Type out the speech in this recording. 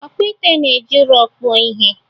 Ọkpụite na-eji ụrọ kpụọ ihe.